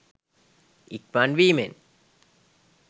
ඉක්මන් වීමෙන්